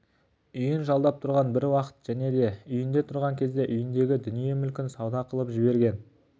үйін жалдап тұрған бір уақыт және де үйінде тұрған кезде үйіндегі дүние мүлкін сауда қылып жіберген